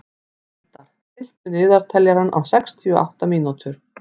Eldar, stilltu niðurteljara á sextíu og átta mínútur.